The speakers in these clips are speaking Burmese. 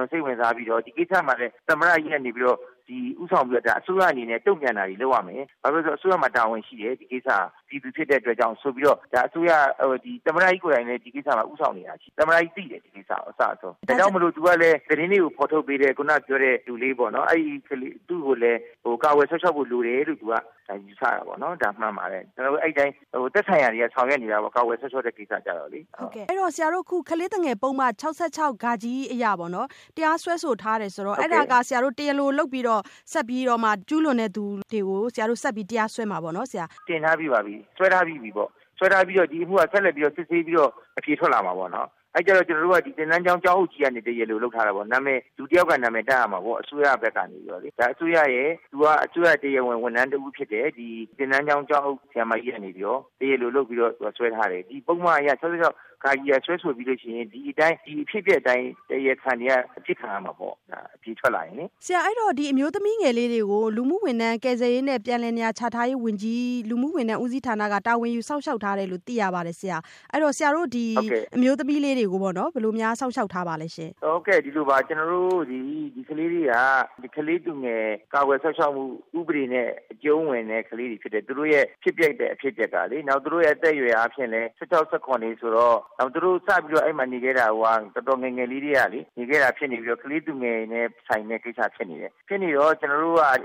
ွန်စိတ်ဝင်စားပြီးတော့ ဒီကိစ္စမှာ သမ္မတကြီးကနေပြီးတော့ဦးဆောင်ပြီးတော့ အစိုးရအနေနဲ့ တုန့်ပြန်တာတွေလုပ်ရမယ် ။ဘာဖြစ်လို့လဲဆိုတော့ အစိုးရမှာတာဝန်ရှိတယ်၊ ဒီကိစ္စဟာပြည်သူဖြစ်တဲ့အတွက်။ သမ္မတကြီးကိုယ်တိုင်လည်း ဒီကိစ္စမှာဦးဆောင်နေတာရှိတာ၊ သမ္မတကြီးလည်းသိတယ် ဒီကိစ္စကို အစအဆုံး ဒါကြောင့်မို့လို့ ဒီကိစ္စကို သတင်းတွေကိုဖော်ထုတ်ပေးတဲ့ ခုနပြောတဲ့လူလေးပေါ့နော် သူ့ကိုလည်းကာကွယ်စောင့်ရှောက်ဖို့လိုတယ်လို့ ယူဆတာပေါ့နော်။ဒါမှန်ပါတယ်၊ အဲဒီအတိုင်းသက်ဆိုင်ရာတွေက ဆောင်ရွက်နေတာပေါ့၊ ကာကွယ်စောင့်ရှောက်တဲ့ကိစ္စကိုလေ မဆုမွန်။ ။ အဲ့တော့ ဆရာတို့ အခု ကလေးသူငယ်ပုဒ်မ ၆၆ အရ တရားစွဲဆိုထားပြီဆိုတော့ ဆရာတို့အနေနဲ့ တရားလိုလုပ်ပြီးတော့ ကျူးလွန်တဲ့သူတွေကို တရားဆက်စွဲမှာပါ့နော်။ ဒေါက်တာဝင်းမြတ်အေး။ ။ ဟုတ်ပါတယ်။ တင်ထားပြီးပါပြီ စွဲထားပြီးပြီပေါ့နော်။ ဒီအမှုက ဆက်လက်ပြီးတော့ စစ်ဆေးပြီးတော့ အဖြေထွက်လာမှာပေါ့နော် အဲဒါကျတော့ ကျနော်တို့က သင်တန်းကျောင်းအုပ်ဆရာမကြီးက တရားလိုလုပ်ပြီး စွဲထားပါတယ်။လူတယောက်က နာမည်တပ်ရမှာပေါ့ အစိုးရဘက်ကနေပြီးတော့လေ ။ သူကအစိုးရရဲ့တရားဝင် ဝန်ထမ်းတဦးဖြစ်တယ် သင်တန်းကျောင်းအုပ်ဆရာမကြီးကနေပြီးတော့တရားလိုလုပ်ပြီး စွဲထားပါတယ်။ ကလေးသူငယ်ပုဒ်မ ၆၆ ကနေပြီးတော့ စွဲဆိုပြီးရင် ဒီအဖြစ်အပျက်အတိုင်း တရားခံတွေက အစစ်ခံရမှာပေါ့။ အဖြေထွက်လာရင်လေ။ မဆုမွန်။ ။ အဲ့ဒီ့တော့ ဆရာ အဲ့ဒီ့အမျိုးသမီးငယ်လေးတွေကို အခု ဆရာတို့လူမှုဝန်ထမ်း ကယ်ဆယ်ရေးနှင့်ပြန်လည်နေရာချထားရေး ဝန်ကြီးဌာန လူမှုဝန်ထမ်းဦးစီးဌာနက တာဝန်ယူစောင့်ရှောက်ထားတယ်လို့ သိရပါတယ်ဆရာ။ အဲ့ဒီ့တော့ အဲ့ဒီ့အမျိုးသမီးလေးတွေကို ဘယ်လိုများ ဆရာတို့ စောင့်ရှောက်ထားပါသလဲဆရာ။ ဒေါက်တာဝင်းမြတ်အေး။ ။ ဟုတ်ကဲ့ဒီလိုပါ ကျနော်တို့ ဒီကလေးလေးတွေက ကလေးသူငယ်ကာကွယ်စောင့်ရှောက်မှုဥပဒေနဲ့ အကျုံးဝင်တဲ့ကလေးတွေဖြစ်တယ်။ သူတို့ရဲ့ ဖြစ်ပျက်တဲ့ အဖြစ်အပျက်ကလေ၊ နောက်သူတို့ရဲ့ အသက်အားဖြင့်လည်း ၁၆ ၊ ၁၇ တွေဆိုတော့ နောက်သူတို့စပြီးတော့ နေခဲ့တာကိုက တော်တော်ငယ်ငယ်လေးကတည်းက နေခဲ့တာဖြစ်နေတော့ ကလေးသူငယ်နဲ့ဆိုင်တဲ့ကိစ္စဖြစ်နေတယ်။ ဖြစ်နေတော့ ကျနော်တို့က သ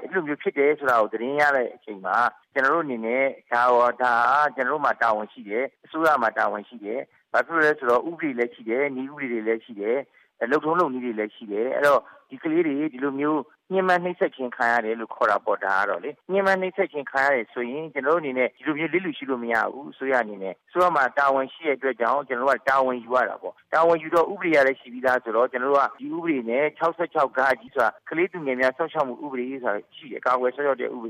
တင်းရလိုက်တဲ့အချိန်မှာ ကျနော်တို့အနေနဲ့ ဒါဟာ ကျနော်တို့မှာ တာဝန်ရှိတယ်။ အစိုးရမှာ တာဝန်ရှိတယ်။ ဘာဖြစ်လို့လဲဆိုတော့ ဥပဒေတွေလည်းရှိတယ်၊ နည်းဥပဒေတွေလည်းရှိတယ်။ လုပ်ထုံးလုပ်နည်းတွေလည်းရှိတယ်၊ အဲဒီတော့ ဒီကလေးတွေအခုလိုမျိုး ညှဉ်းပန်း နှိပ်စက်ခြင်းခံရတယ်ဆိုရင် ကျနော်တို့အနေနဲ့ ဒီလိုမျိုးလစ်လျူရှုလို့မရဘူး အစိုးရအနေနဲ့အစိုးရမှာ တာဝန်ရှိတဲ့အတွက်ကြောင့် ကျနော်တို့ တာဝန်ယူရတာပေါ့။ တာဝန်ယူတော့ ဥပဒေကလည်း ရှိပြီးသားဆိုတော့ ကျနော်တို့ က ဒီဥပဒေနဲ့၆၆ ကလေးသူငယ်များကာကွယ်စောင့်ရှောက်မှုဥပဒေဆိုတာရှိတယ် ၊ အဲ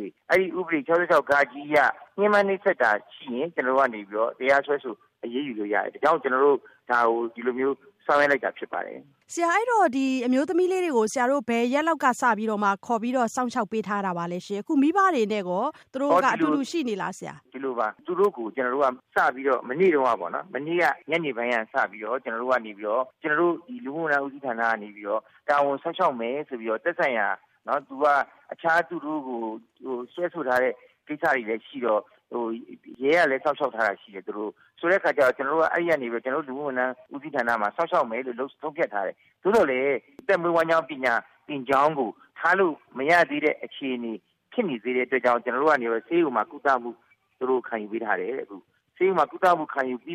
ဒီ ၆၆ က ညှဉ်းပန်း နှိပ်စက်တာရှိရင် ကျနော်တို့ကနေပြီးတော့ တရားစွဲဆိုအရေးယူလို့ရတယ် ဒါကြောင့် ကျနော်တို့ ဒါကို အခုလိုမျိုးဆောင်ရွက်လိုက်တာဖြစ်ပါတယ်။ မဆုမွန်။ ။ ဆရာ အဲ့ဒီ့တော့ အဲ့ဒီ့အမျိုးသမီးလေးတွေကို ဘယ်ရက်လောက် စပြီးဆရာတို့ခေါ်ပြီးစောင့်ရှောက်ပေးထားတာပါလဲရှင့်။ အခု မိဘတွေနဲ့ရော သူတို့က အတူတူရှိနေလားဆရာ။ ဒေါက်တာဝင်းမြတ်အေး။။ ဒီလိုပါ မနေ့ညနေပိုင်းက စပြီးတော့ ကျနော်တို့ လူမှုဝန်ထမ်း ဦးစီးဌာနကနေပြီးတော့ ကာကွယ်စောင့်ရှောက် မယ်ဆိုပြီးတော့ - ရဲက စောင့်ရှောက်ထားတာ လည်း ရှိပါတယ်။ဆိုတော့ အဲဒီကနေပြီးတော့ လူမှုဝန်ထမ်း ဦးစီးဌာနမှာ စောင့်ရှောက်မယ်လို့ ဆုံးဖြတ်ထားတယ်။ သို့သော်လည်း အသက်မွေးဝမ်းကြောင်းပညာသင်ကြောင်းကို ထားလို့မရသေးတဲ့အခြေအနေဖြစ်နေတဲ့အတွက်ကြောင့် ဆေးရုံမှာ ဆေးကုသမှုခံယူပေးထားတယ်။ ဆေးရုံမှာ ဆေးကုသမှုခံယူပြီး